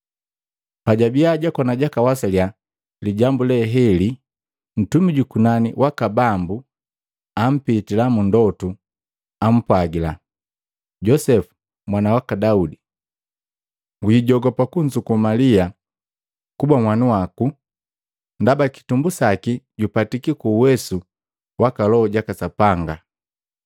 Pajwabia jwakoni jwakawasaliya lijambu leheli, Ntumi jukunani waka Bambu ampitila mundotu ampwagila, “Josepu mwana waka Daudi, wijogopa kunzuku Malia kuba nhwanu wako, ndaba kitumbu saki jupatiki ku uwesu waka Loho jaka Sapanga.